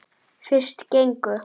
Fyrst gengu